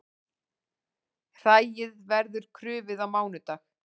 Hræið verður krufið á mánudag